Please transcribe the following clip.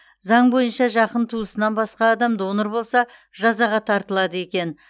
заң бойынша жақын туысынан басқа адам донор болса жазаға тартылады екен